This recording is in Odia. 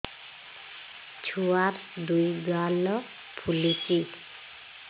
ଛୁଆର୍ ଦୁଇ ଗାଲ ଫୁଲିଚି